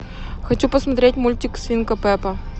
хочу посмотреть мультик свинка пеппа